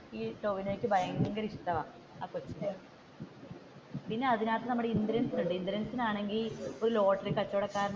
ഈ ടോവിനോക്ക് ഭയങ്കര ഇഷ്ടമാണ്, ആ കൊച്ചിനെ പിന്നെ അതിന്റെ അകത്തു നമ്മുടെ ഇന്ദ്രൻസ് ഉണ്ട് ഇന്ദ്രൻസ് ആണെങ്കിൽ ഒരു ലോട്ടറി കച്ചവട കാരഞ്ഞാണ്